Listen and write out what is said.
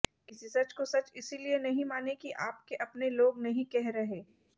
किसी सच को सच इसलिए नहीँ माने कि आपके अपने लोग नहीँ कह रहे